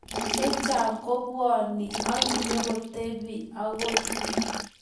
Chechang kobwoni akinyikotebiy akoi